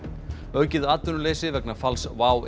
aukið atvinnuleysi vegna falls WOW